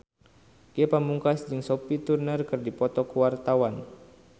Ge Pamungkas jeung Sophie Turner keur dipoto ku wartawan